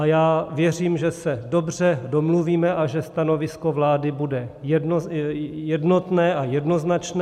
A já věřím, že se dobře domluvíme a že stanovisko vlády bude jednotné a jednoznačné.